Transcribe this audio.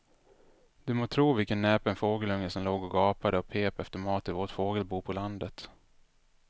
Du må tro vilken näpen fågelunge som låg och gapade och pep efter mat i vårt fågelbo på landet.